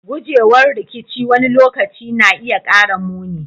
Gujewar rikici wani lokaci na iya kara muni.